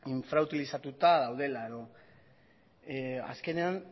infrautilizatuta daudela edo azkenean